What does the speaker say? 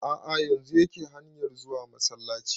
A'a yanzun yake hanyar zuwa masallaci